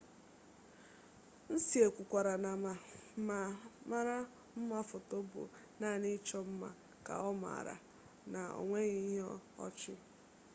hsieh kwukwara na ma mara mma foto bụ naanị ịchọ mma ka ọ maara na onweghi ihe ọ chị